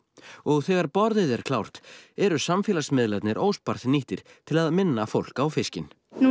og þegar borðið er klárt eru samfélagsmiðlarnir óspart nýttir til minna fólk á fiskinn nú